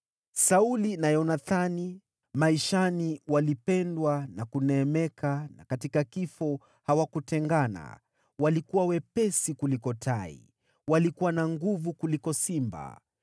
“Sauli na Yonathani, maishani walipendwa na kuneemeka, na katika kifo hawakutengana. Walikuwa wepesi kuliko tai, walikuwa na nguvu kuliko simba.